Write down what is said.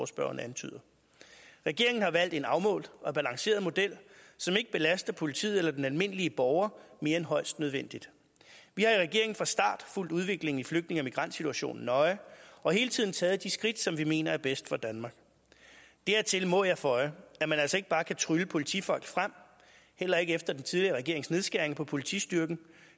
spørgeren antyder regeringen har valgt en afmålt og balanceret model som ikke belaster politiet og den almindelige borger mere end højst nødvendigt vi har i regeringen fra start fulgt udviklingen i flygtninge og migrantsituationen nøje og hele tiden taget de skridt som vi mener er bedst for danmark dertil må jeg føje at man altså ikke bare kan trylle politifolk frem heller ikke efter den tidligere regerings nedskæringer på politistyrken